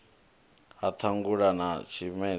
ha ṱhangule na tshimedzi ḽi